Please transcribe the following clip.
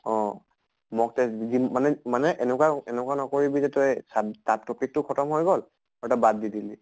অহ mock test দিম মানে মানে এনকুৱা এনকুৱা নকৰিবি যে তই চাব তাত topic টো খতম হৈ গʼল আৰু তই বাদ দি দিলি।